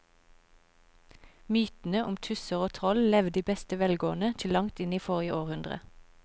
Mytene om tusser og troll levde i beste velgående til langt inn i forrige århundre.